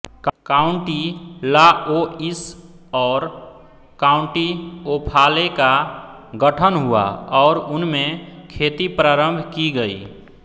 county Laois और county Offaly का गठन हुआ और उनमें खेती प्रारंभ की गयी